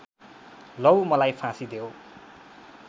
लौ मलाई फाँसी देओ